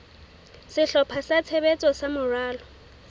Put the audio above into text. sehlopha sa tshebetso sa moralo